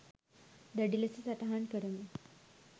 දැඩි ලෙස සටහන් කරමු